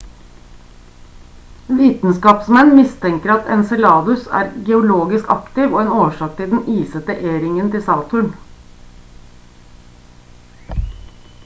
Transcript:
vitenskapsmenn mistenker at enceladus er geologisk aktiv og en årsak til den isete e-ringen til saturn